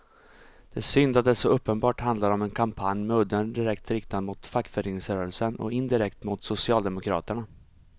Det är synd att det så uppenbart handlar om en kampanj med udden direkt riktad mot fackföreningsrörelsen och indirekt mot socialdemokraterna.